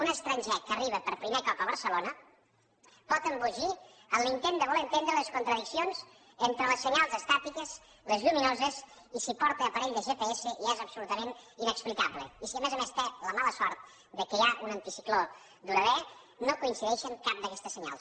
un estranger que arriba per primer cop a barcelona pot embogir en l’intent de voler entendre les contradiccions entre els senyals estàtics els lluminosos i si porta aparell de gps ja és absolutament inexplicable i si a més a més té la mala sort que hi ha un anticicló durador no coincideixen cap d’aquestes senyals